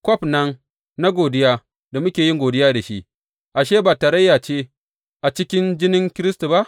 Kwaf nan na godiya da muke yin godiya da shi, ashe ba tarayya ce a cikin jinin Kiristi ba?